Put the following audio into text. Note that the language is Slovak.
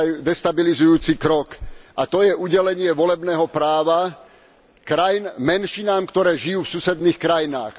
destabilizujúci krok, a to je udelenie volebného práva krajín menšinám, ktoré žijú v susedných krajinách.